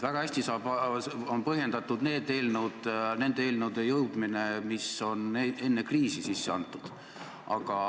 Väga hästi on põhjendatud nende eelnõude päevakorda jõudmine, mis on enne kriisi sisse antud.